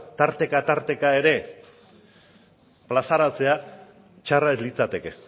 tarteka ere plazaratze txarra ez litzateke